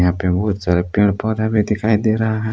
यहां पे बहुत सारे पेड़ पौधे भी दिखाई दे रहा है।